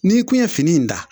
N'i kun ye fini in da